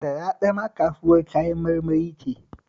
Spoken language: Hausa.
Sharaɗa ma kasuwar Kayan marmari ce